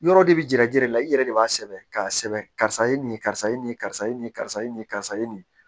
Yɔrɔ de bi yira jiyɛlɛ i yɛrɛ de b'a sɛbɛn k'a sɛbɛn karisa i ye nin ye karisa ye nin ye karisa ye nin ye karisa ye nin ye karisa ye nin ye